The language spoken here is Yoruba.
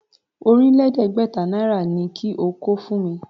Ọ̀rìnlẹ̀ẹ́dẹ́gbẹ̀ta náírà ni kí o kó fún mi!